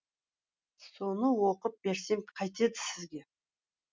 соны оқып берсем қайтеді сізге